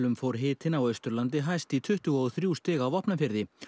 fór hitinn á Austurlandi hæst í tuttugu og þrjú stig á Vopnafirði